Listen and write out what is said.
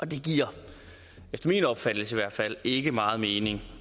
det giver efter min opfattelse i hvert fald ikke meget mening